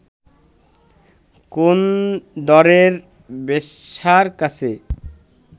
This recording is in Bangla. কোন দরের বেশ্যার কাছে